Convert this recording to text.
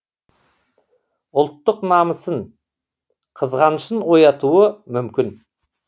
ұлттық намысын қызғанышын оятуы мүмкін